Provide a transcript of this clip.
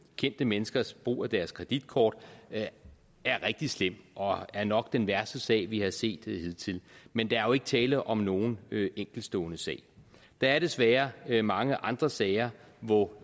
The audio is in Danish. kendte menneskers brug af deres kreditkort er rigtig slem og er nok den værste sag vi har set hidtil men der er jo ikke tale om nogen enkeltstående sag der er desværre mange andre sager hvor